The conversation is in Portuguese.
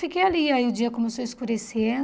Fiquei ali, aí o dia começou a escurecer.